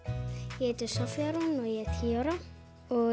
ég heiti Soffía Rún og ég er tíu ára